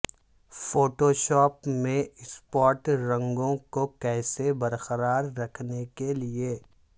Photoshop میں spot رنگوں کو کیسے برقرار رکھنے کے لئے